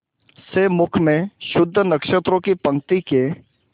से मुख में शुद्ध नक्षत्रों की पंक्ति के